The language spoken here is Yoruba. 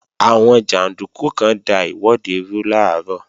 Àwọn jàndúkú kan da ìwọ́de rú làárọ̀